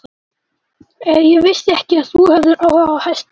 Ég vissi ekki að þú hefðir áhuga á hestum.